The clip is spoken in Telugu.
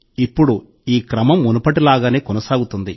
ఇప్పుడు ఈ క్రమం మునుపటిలాగానే కొనసాగుతుంది